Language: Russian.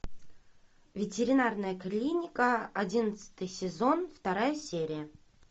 ветеринарная клиника одиннадцатый сезон вторая серия